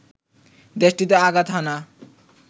দেশটিতে আঘাত হানা